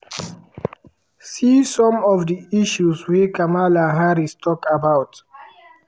see some of di issues wey kamala harris tok about.